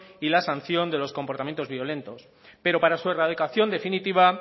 y la sanción de los comportamientos violentos pero para su erradicación definitiva